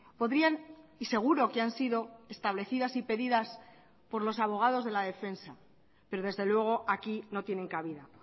podrían y seguro que han sido establecidas y pedidas por los abogados de la defensa pero desde luego aquí no tienen cabida